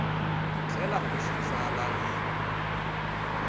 tlhela u xi tsala hi